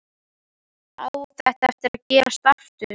Á þetta eftir að gerast aftur?